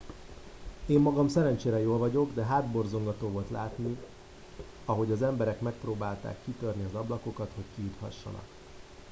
én magam szerencsére jól vagyok de hátborzongató volt látni ahogy az emberek megpróbálták kitörni az ablakokat hogy kijuthassanak